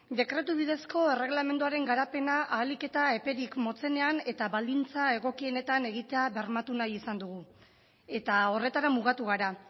dekretu bidezko erregelamenduaren garapena ahalik eta eperik motzenean eta baldintza egokienetan egitea bermatu nahi izan dugu eta horretara mugatu gara